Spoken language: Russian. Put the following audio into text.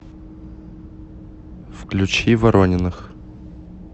включи ворониных